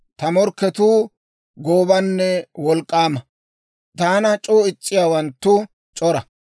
Ta morkketuu goobanne wolk'k'aama; taana c'oo is's'iyaawanttu c'ora.